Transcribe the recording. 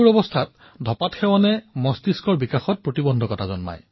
কিশোৰাৱস্থাত ইয়াৰ সেৱনে মগজুৰ বিকাশতো প্ৰভাৱ পেলায়